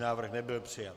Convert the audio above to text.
Návrh nebyl přijat.